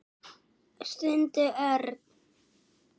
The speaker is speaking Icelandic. stundi Örn.